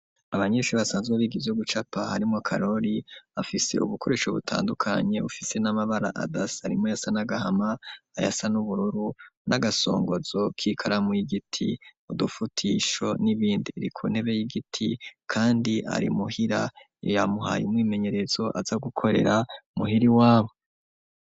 Abanyeshure basanzwe biga ibyo gucapa harimwo Karoli bafise ubukoresho butandukanye ufise n'amabara adasa arimwo ayasa n'agahama ayasa n'ubururu, n'agasongozo k'ikaramu yigiti ,udufutisho n'ibindi iri ku ntebe y'igiti kandi ari muhira iyo yamuhaye umwimenyerezo aza gukorera muhiri wabo.